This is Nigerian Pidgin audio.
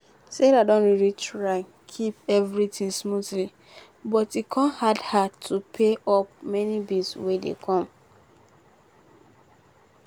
sarah don really try keep everything smoothly but e con hard her pay her up many bill wey dey come